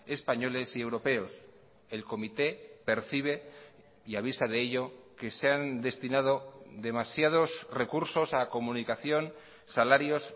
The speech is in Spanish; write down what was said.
españoles y europeos el comité percibe y avisa de ello que se han destinado demasiados recursos a comunicación salarios